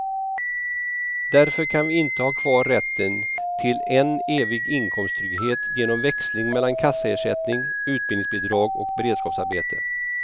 Därför kan vi inte ha kvar rätten till en evig inkomsttrygghet genom växling mellan kassaersättning, utbildningsbidrag och beredskapsarbete.